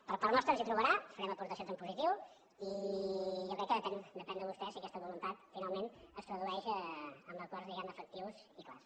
per part nostra ens hi trobarà farem aportacions en positiu i jo crec que depèn depèn de vostès si aquesta voluntat finalment es tradueix en acords diguem ne efectius i clars